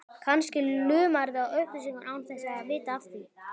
Kannski lumarðu á upplýsingum án þess að vita af því.